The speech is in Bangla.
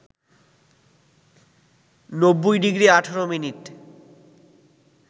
৯০ ডিগ্রি ১৮ মিনিট